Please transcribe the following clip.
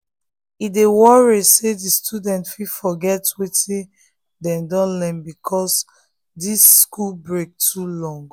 e dey worry say the students fit forget wetin dem don learn because this school break too long